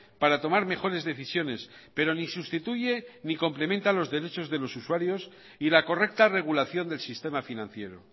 para tomar mejores decisiones pero ni sustituye ni complementa los derechos de los usuarios y la correcta regulación del sistema financiero